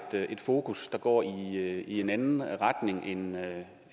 fokus der går i en anden retning end